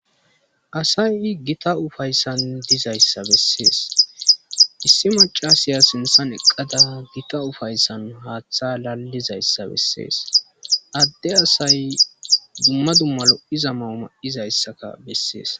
asay gita ufayssan dizayssa bessees issi macasaya sinthan eqqada gita ufayssan haaththa lallizayssa bessees adde asay dumma dumma lo iza mauma7izayssaka bessees